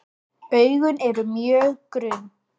Augun eru mjög grunn.